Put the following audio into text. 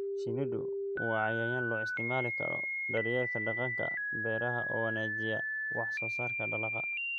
Shinnidu waa cayayaan loo isticmaali karo daryeelka deegaanka beeraha oo wanaajiya wax soo saarka dalagga.